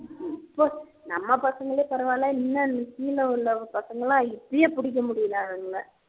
நம்ம பசங்களே பரவாயில்ல இன்னும் கீழ உள்ள பசங்க எல்லாம் இப்போவே பிடிக்க முடியல அதுங்கல